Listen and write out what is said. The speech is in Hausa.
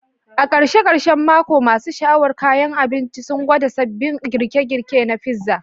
Karshen karshen mako, masu sha'awar kayan abinci sun gwada sabbin girke-girke na pizza.